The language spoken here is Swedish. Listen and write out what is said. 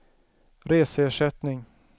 reseersättning